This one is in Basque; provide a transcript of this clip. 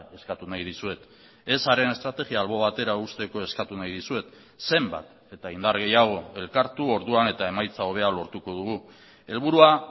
eskatu nahi dizuet ezaren estrategia albo batera uzteko eskatu nahi dizuet zenbat eta indar gehiago elkartu orduan eta emaitza hobea lortuko dugu helburua